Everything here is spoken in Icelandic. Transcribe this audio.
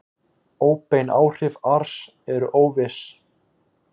Óbein áhrif ars eru óviss.